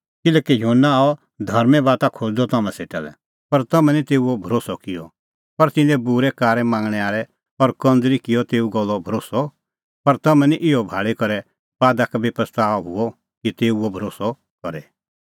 किल्हैकि युहन्ना आअ धर्में बाता खोज़दअ तम्हां सेटा लै पर तम्हैं निं तेऊओ भरोस्सअ किअ पर तिन्नैं बूरै कारै मांगणैं आल़ै और कंज़रा किअ तेऊए गल्लो भरोस्सअ पर तम्हैं निं इहअ भाल़ी करै बादा का बी पछ़ताअ हुअ कि तेऊओ भरोस्सअ करे